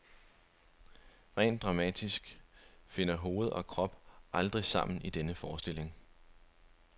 Rent dramatisk finder hoved og krop aldrig sammen i denne forestilling.